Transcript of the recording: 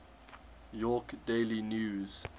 york daily news